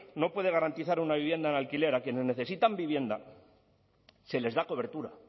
no puede garantizar una vivienda en alquiler a quienes necesitan vivienda se les da cobertura